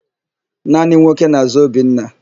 Naanị nwoke na-àzá Obinna.